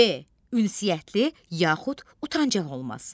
B. ünsiyyətli yaxud utancaq olması.